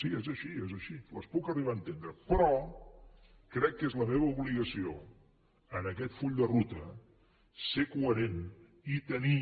sí és així és així les puc arribar a entendre però crec que és la meva obligació en aquest full de ruta ser coherent i tenir